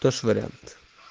тоже вариант